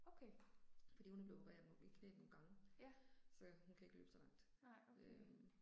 Okay. Ja. Nej, okay